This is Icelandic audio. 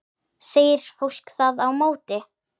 segir fólk þá á móti.